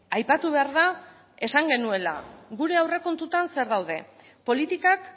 aipatu behar da esan genuela gure aurrekontuetan zer daude politikak